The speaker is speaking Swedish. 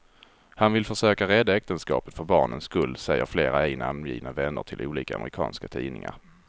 Han vill försöka rädda äktenskapet för barnens skull, säger flera ej namngivna vänner till olika amerikanska tidningar.